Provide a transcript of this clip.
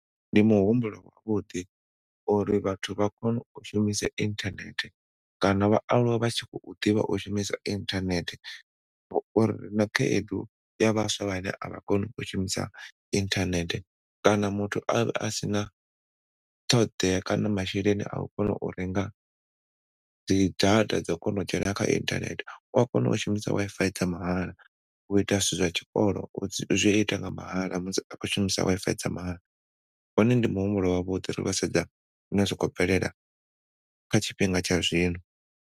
Ndi muhumbulo wavhuḓi uri vhathu vha kone u shumisa inthanethe kana vha aluwe vha tshi khou ḓivha u shumisa inthanethe rina khaedu ya vhaswa vhane a vha koni u shumisa inthanethe kana muthu asina thoḓea kana masheleni au kona u renga dzi data dzo kona u dzhena kga inthanethe u ya kona u shumisa Wi-Fi dza mahala u ita zwithu zwa tshikolo u zwiita nga mahala musi a khou shumisa Wi-Fi dza mahala wone ndi muhumbulo wavhuḓi ri khou sedza zwine zwa khou bvelela kha tshifhinga tsha zwino.